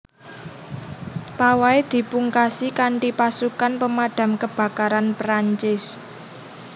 Pawai dipungkasi kanthipasukan Pemadam Kebakaran Perancis